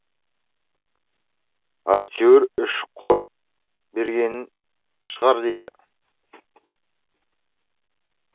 әйтеуір үш қойып берген шығар дейді